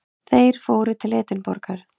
Þeir fóru til Edinborgar.